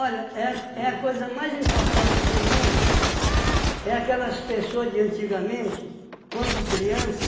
é é a coisa mais importante do mundo, é aquelas pessoas de antigamente, quando criança,